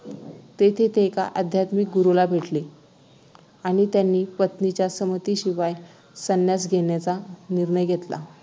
तेथे ते एका आध्यत्मिक गुरूला भेटले आणि त्यांनी पत्नीच्या संमतीशिवाय संन्यास घेण्याचा निर्णय घेतला